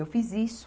Eu fiz isso.